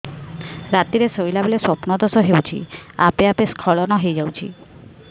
ରାତିରେ ଶୋଇଲା ବେଳେ ସ୍ବପ୍ନ ଦୋଷ ହେଉଛି ଆପେ ଆପେ ସ୍ଖଳନ ହେଇଯାଉଛି